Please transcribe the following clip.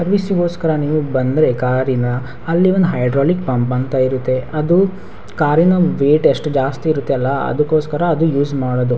ಸರ್ವಿಸಿಗೊಸ್ಕರ್‌ ನಿವು ಬಂದ್ರೆ ಕಾರಿನ ಅಲ್ಲಿ ಒಂದು ಹೈಡ್ರೋಲಿಕ್ ಪಂಪಂತ ಇರುತ್ತೆ ಅದು ಕಾರಿನ ವೈಟ್ ಅಷ್ಟು ಜಾಸ್ತಿ ಇರುತ್ತಲ್ಲ ಅದಕ್ಕೋಸ್ಕರ ಅದು ಯೂಸ್ ಮಾಡುದು .